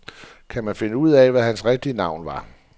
Kan man finde ud af, hvad hans rigtige navn var.